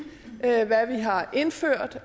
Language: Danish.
hvad vi har indført